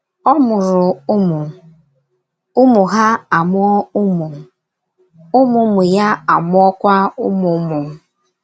Ọ mụrụ ụmụ, ụmụ hà amụọ ụmụ, ụmụ ụmụ ya amụọkwa ụmụ ụmụ.